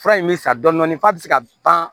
Fura in bɛ san dɔɔnin f'a bɛ se ka ban